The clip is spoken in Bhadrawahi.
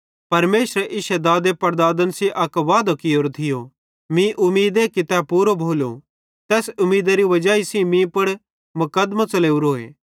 परमेशरे इश्शे दादेपड़दादन सेइं अक वादो कियोरो थियो मीं उमीदे कि तै पूरो भोलो तैस उमीदारी वजाई सेइं मीं पुड़ मुकदमों च़लेवरोए